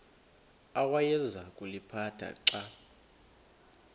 awayeza kuliphatha xa